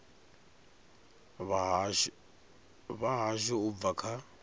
vha hashu u bva kha